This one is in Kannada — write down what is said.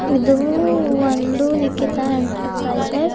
ಇದು ಒಂದು ನಿಖಿತ ಎಂಟರ್ಪ್ರೈಸಸ್ .